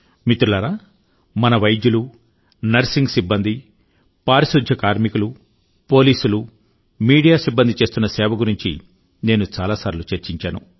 మిత్రులారా మన వైద్యులు నర్సింగ్ సిబ్బంది పారిశుద్ధ్యం కార్మికులు పోలీసులు మీడియా సిబ్బంది చేస్తున్న సేవ గురించి నేను చాలాసార్లు చర్చించాను